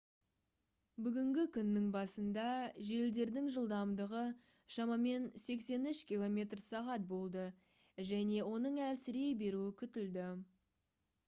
бүгінгі күннің басында желдердің жылдамдығы шамамен 83 км/сағ болды және оның әлсірей беруі күтілді